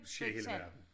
Sker i hele verden